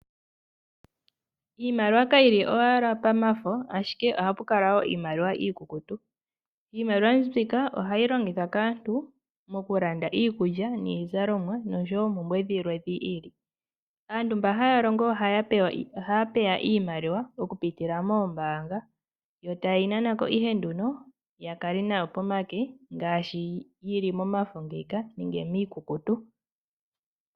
Iimaliwa kayi li owala pamafo, ashike oha pu kala puna iimaliwa iikukutu. Iimaliwa mbika ohayi longithwa kaantu moku landa iikulya, iizalomwa noshowo oompumbwe dhi ili. Aantu mba haya longo ohaya pewa iimaliwa oku pitila moombaanga yo taye yi nana ko ihe nduno ya kale nayo pomake ngaashi yi li momafo ngeyi ka nenge miikukutu.